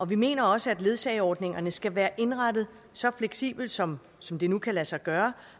vi mener også at ledsageordningerne skal være indrettet så fleksibelt som som det nu kan lade sig gøre